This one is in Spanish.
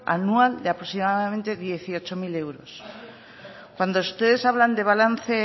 anual de aproximadamente dieciocho mil euros cuando ustedes hablan de balance